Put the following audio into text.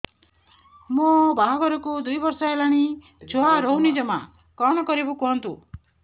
ମୋ ବାହାଘରକୁ ଦୁଇ ବର୍ଷ ହେଲାଣି ଛୁଆ ରହୁନି ଜମା କଣ କରିବୁ କୁହନ୍ତୁ